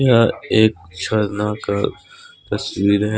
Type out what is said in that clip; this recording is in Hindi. यह एक झरना का तस्वीर है।